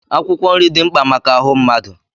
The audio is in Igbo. Akwụkwọ nri dị mkpa maka ahụ mmadụ.